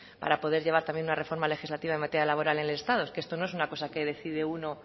para poder llevar también una reforma legislativa en materia laboral en el estado es que esto no es una cosa que decide uno